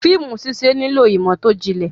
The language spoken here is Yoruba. Fíìmù ṣíṣẹ nílò ìmọ̀ tó jinlẹ̀.